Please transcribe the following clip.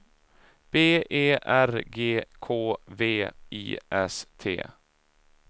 B E R G K V I S T